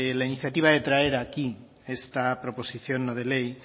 la iniciativa de traer aquí esta proposición no de ley